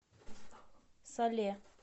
сале